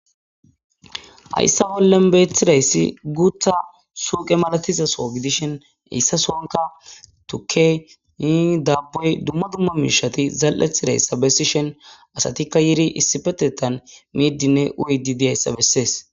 Hayssa bollen beethidayssi guutha suuqe malatizaso gidishhen eyssa sonka tuke yi daabbey dumma dumma miishati zal'ethidayssa bessishen asatikka yiri issipetetan miiddinne uydi di ayssa bessees.